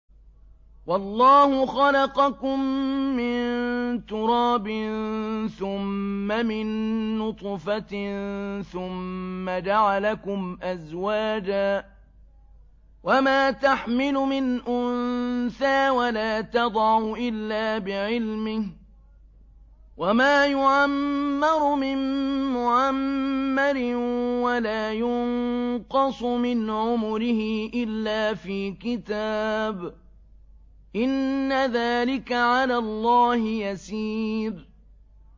وَاللَّهُ خَلَقَكُم مِّن تُرَابٍ ثُمَّ مِن نُّطْفَةٍ ثُمَّ جَعَلَكُمْ أَزْوَاجًا ۚ وَمَا تَحْمِلُ مِنْ أُنثَىٰ وَلَا تَضَعُ إِلَّا بِعِلْمِهِ ۚ وَمَا يُعَمَّرُ مِن مُّعَمَّرٍ وَلَا يُنقَصُ مِنْ عُمُرِهِ إِلَّا فِي كِتَابٍ ۚ إِنَّ ذَٰلِكَ عَلَى اللَّهِ يَسِيرٌ